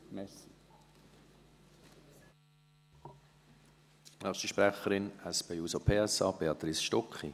Als nächste Sprecherin für die SP-JUSO-PSAFraktion: Béatrice Stucki.